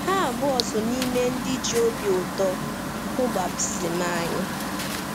Ha abụọ so n’ime ndị ji obi ụtọ hụ baptizim anyị.